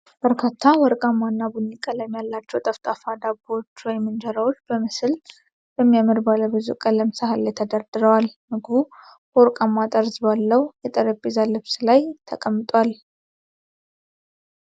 በርካታ ወርቃማ እና ቡኒ ቀለም ያላቸው ጠፍጣፋ ዳቦዎች/እንጀራዎች በምስል በሚያምር ባለ ብዙ ቀለም ሳህን ላይ ተደርድረዋል። ምግቡ በወርቃማ ጠርዝ ባለው የጠረጴዛ ልብስ ላይ ተቀምጧል።